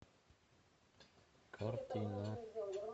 картина